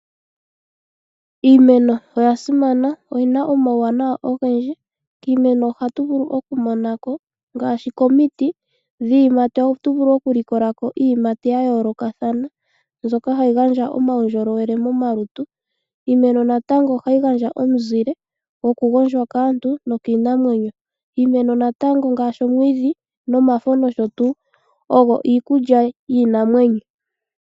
Iimeno oya simana noyina omawuwanawa ogendji .Kiimeno ngaashi dhiyiimati ohatu vulu oku monako iiyimati yayolokathana mbyoka hayi gandja omaundjolowele momalutu. Iimeno ohayi gandja woo omuzile goku gondjwa kaantu nokiinamwenyo. Iimeno ngaashi omwiidhi nomafo nosho tuu oyo iikulya yiinamwenyo.